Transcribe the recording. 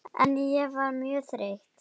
En ég var mjög þreytt.